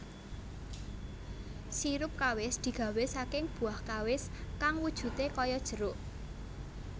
Sirup kawis digawè saking buah Kawis kang wujudè kaya jeruk